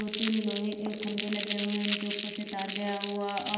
तीन लोहे के खंभे लगे हुए हैं उनके ऊपर से तार गया हुआ और ये--